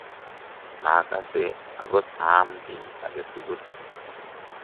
makase akot aam kiy age tugul